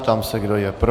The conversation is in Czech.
Ptám se, kdo je pro.